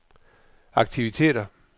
aktiviteter